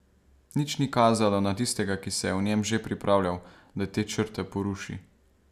Nič ni kazalo na tistega, ki se je v njem že pripravljal, da te črte poruši.